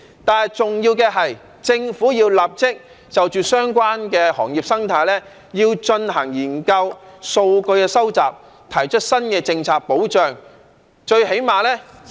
但是，重要的是政府要立即就着相關的行業生態進行研究、收集數據及提出新的政策保障。